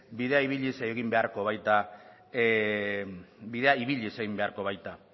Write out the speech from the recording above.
bidea ibiliz egin beharko baita bidea ibiliz egin beharko baita